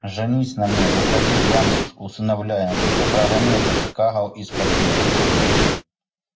женись на мне выходи замуж усыновляй но только прогони этот кагал из квартиры